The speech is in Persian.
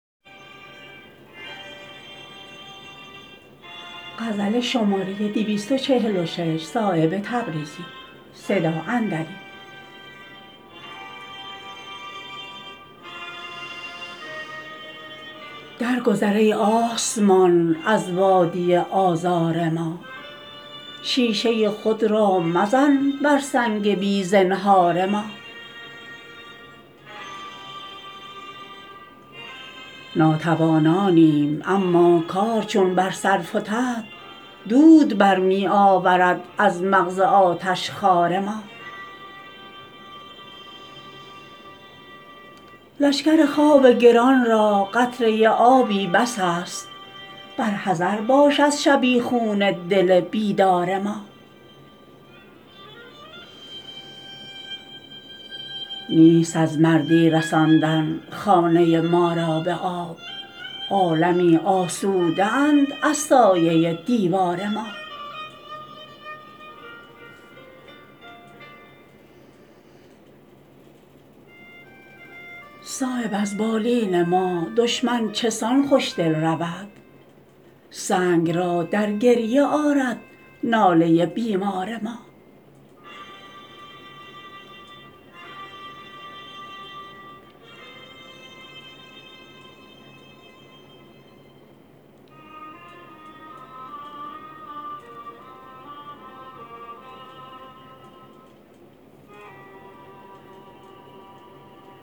در گذر ای آسمان از وادی آزار ما شیشه خود را مزن بر سنگ بی زنهار ما ناتوانانیم اما کار چون بر سر فتد دود برمی آورد از مغز آتش خار ما لشکر خواب گران را قطره آبی بس است برحذر باش از شبیخون دل بیدار ما نیست از مردی رساندن خانه ما را به آب عالمی آسوده اند از سایه دیوار ما صایب از بالین ما دشمن چسان خوشدل رود سنگ را در گریه آرد ناله بیمار ما